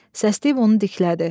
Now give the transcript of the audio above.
Səsləyib onu diklədi.